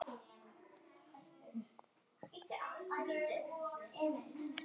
Þú ratar? spurði Stefán.